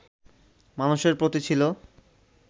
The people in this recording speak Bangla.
মানুষের প্রতি ছিল